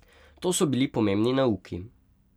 To so bili pomembni nauki.